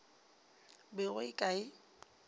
be go e ka e